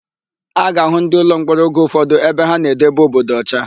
A ga-àhụ́ ndịụlọmkpọrọ oge ụfọdụ ebe ha na-edebe obodo ọcha.